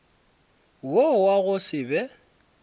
wo wa go se be